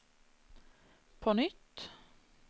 på nytt